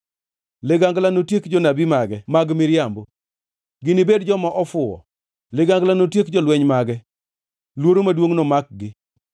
Ligangla notiek jonabi mage mag miriambo! Ginibed joma ofuwo. Ligangla notiek jolweny mage! Luoro maduongʼ nomakgi.